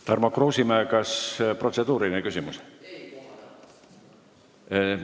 Tarmo Kruusimäe, kas protseduuriline küsimus?